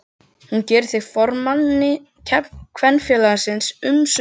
Hún gerir þig að formanni Kvenfélagsins umsvifalaust.